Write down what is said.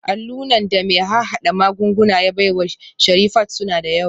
Allunan da mai harhada magunguna ya baiwa Sherifat suna da yawa